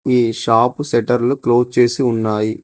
ఈ షాపు సెటర్లు క్లోజ్ చేసి ఉన్నాయి.